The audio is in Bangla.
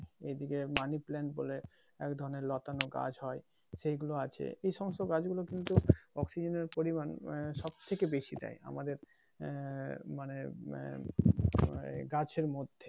এই দিকে মানি প্লান্ট বলে এক ধরনের লতানো গাছ হয় সে গুলো আছে এই সমস্ত গাছ গুলো কিন্তু অক্সিজেনের পরিমান সবথেকে বেশি দেয় আমাদের আহ মানে উম মানে গাছের মধ্যে